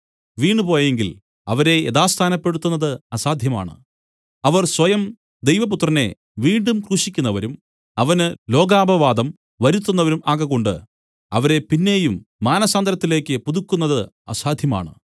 വീണുപോയെങ്കിൽ അവരെ യഥാസ്ഥാനപ്പെടുത്തുന്നത് അസാധ്യമാണ് അവർ സ്വയം ദൈവപുത്രനെ വീണ്ടും ക്രൂശിക്കുന്നവരും അവന് ലോകാപവാദം വരുത്തുന്നവരും ആകകൊണ്ട് അവരെ പിന്നെയും മാനസാന്തരത്തിലേക്കു പുതുക്കുന്നത് അസാധ്യമാണ്